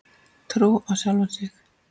Trú á sjálfan sig.